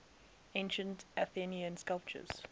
ancient athenian sculptors